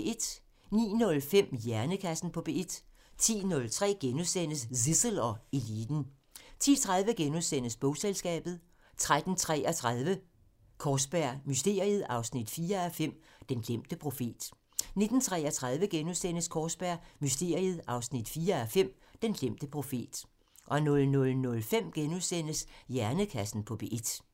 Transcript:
09:05: Hjernekassen på P1 10:03: Zissel og Eliten * 10:30: Bogselskabet * 13:33: Kaarsberg Mysteriet 4:5 – Den glemte profet 19:33: Kaarsberg Mysteriet 4:5 – Den glemte profet * 00:05: Hjernekassen på P1 *